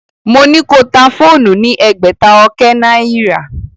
Mo ní ko ta fóònù ní ẹgbẹ̀ta ọkẹ́ náìrà.